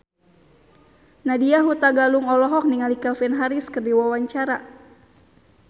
Nadya Hutagalung olohok ningali Calvin Harris keur diwawancara